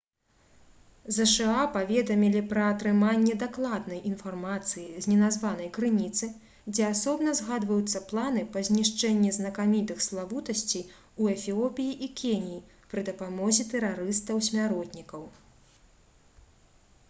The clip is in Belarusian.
зша паведамілі пра атрыманне дакладнай інфармацыі з неназванай крыніцы дзе асобна згадваюцца планы па знішчэнні «знакамітых славутасцей» у эфіопіі і кеніі пры дапамозе тэрарыстаў-смяротнікаў